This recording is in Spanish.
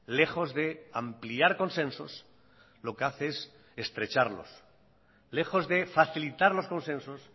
lejos de ampliar consensos lo que hace es estrecharlos lejos de facilitar los consensos